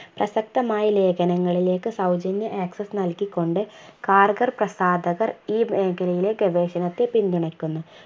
പ്രസക്തമായ ലേഖനങ്ങളിലേക്ക് സൗജന്യ access നൽകികൊണ്ട് കാർഗർ പ്രസ്ഥാപകർ ഈ മേഖലയിലെ ഗവേഷണത്തെ പിന്തുണക്കുന്നു